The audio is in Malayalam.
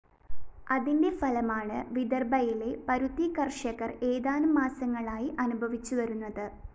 അതിന്റെ ഫലമാണ് വിദര്‍ഭയിലെ പരുത്തി കര്‍ഷകര്‍ ഏതാനും മാസങ്ങളായി അനുഭവിച്ചുവരുന്നത്